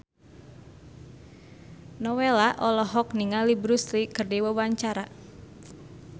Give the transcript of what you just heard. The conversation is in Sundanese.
Nowela olohok ningali Bruce Lee keur diwawancara